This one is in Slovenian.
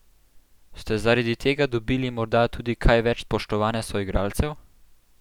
Ste zaradi tega dobili morda tudi kaj več spoštovanja soigralcev?